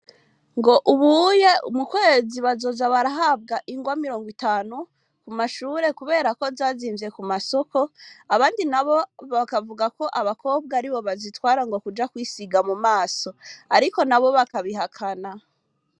Ngo Ubuye mukwezi bazoza bararonka ingwa mirongo itanu ,kumushure ,kubera ko zazimvye kumasoko, abandi nabo bakavugako Abakobwa aribo bazitwara kuja kwisiga mumaso, Ariko nabo bakabihakana.